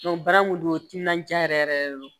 baara kun don timinan diya yɛrɛ yɛrɛ de don